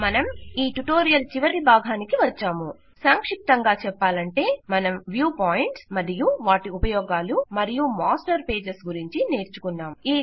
మనం ఈ ట్యుటోరియల్ చివరకు వచ్చాము సంక్షిప్తంగా చెప్పాలంటే మనం వ్యూ పాయింట్స్ మరియు వాటి ఉపయోగాలు మరియు మాస్టర్ పేజస్ గురించి నేర్చుకున్నాం